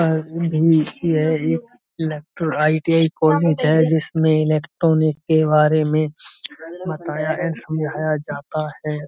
भी यह एक इलेक्ट्रो आई.टी.आई. कॉलेज है जिसमें इलेक्ट्रॉनिक के बारे में बताया एंड समझाया जाता है।